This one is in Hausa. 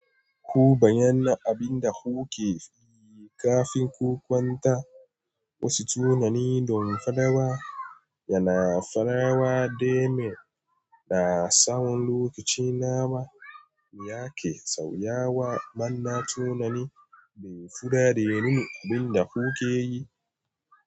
Ku bayyana abin da kuke yi kafin ku kwanta. Wasu tunani don fadawa yana farawa da mai da tsawon lokaci nawa yake sauyawa. Manna tunani da fura da rini duk da kuke yi.